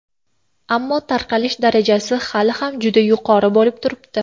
Ammo tarqalish darajasi hali ham juda yuqori bo‘lib turibdi.